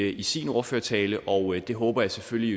i sin ordførertale og det håber jeg selvfølgelig